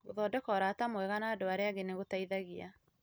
Gũthondeka ũrata mwega na andũ arĩa angĩ nĩ gũteithagia